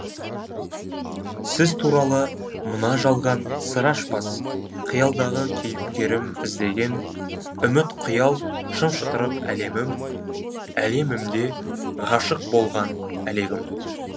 сіз туралы мына жалған сыр ашпас қиялдағы кейіпкерім іздеген үміт қиял шым шытырық әлемім әлемімде ғашық болған әлегім